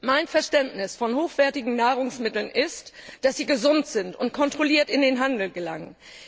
Mein Verständnis von hochwertigen Nahrungsmitteln ist, dass sie gesund sind und kontrolliert in den Handel gelangen.